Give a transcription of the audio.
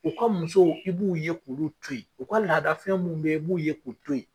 U ka musow u b'u ye k'olu to yen, u ka laadafɛn mun be yen, i b'u ye kun to yen